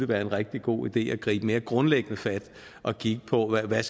være en rigtig god idé at gribe mere grundlæggende fat og kigge på hvad